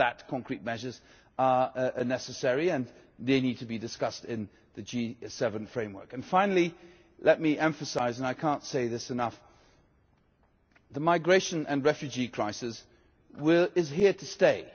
For that, concrete measures are necessary and they need to be discussed in the G7 framework. Finally, let me emphasise and I cannot say this enough the migration and refugee crisis is here to stay.